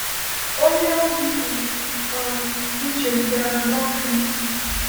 Onye ozi pụrụ um iche bịara n’ọfịs.